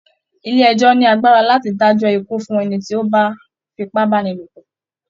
Ilé ẹjọ́ọ́ ní agbara láti dájọ́ ikú fún ẹni tí ó bá fipábánilòpọ̀